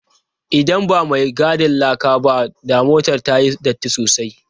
Idan ba mai gadin laka ba, da motar ta yi datti sosai.